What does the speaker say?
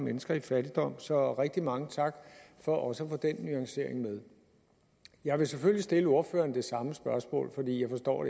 mennesker i fattigdom så rigtig mange tak for også at få den nuancering med jeg vil selvfølgelig stille ordføreren det samme spørgsmål jeg forstår